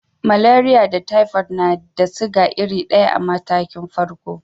Maleriya da taifot na da siga iri daya a matakin farko.